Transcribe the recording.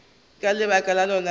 ka lebaka lona le la